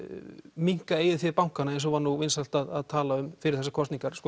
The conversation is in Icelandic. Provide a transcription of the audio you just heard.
minnka eigið fé bankanna eins og var nú vinsælt að tala um fyrir þessar kosningar